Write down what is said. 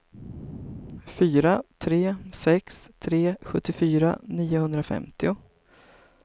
fyra tre sex tre sjuttiofyra niohundrafemtio